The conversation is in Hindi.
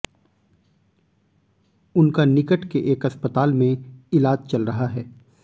उनका निकट के एक अस्पताल में इलाज चल रहा है